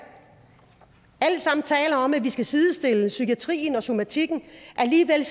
alle taler om at vi skal sidestille psykiatrien og somatikken alligevel